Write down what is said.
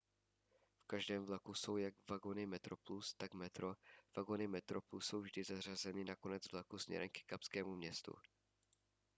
v každém vlaku jsou jak vagony metroplus tak metro vagony metroplus jsou vždy zařazeny na konec vlaku směrem ke kapskému městu